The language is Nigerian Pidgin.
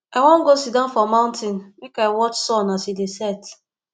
i wan go siddon for mountain make i watch sun as e dey set